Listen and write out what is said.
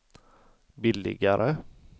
billigare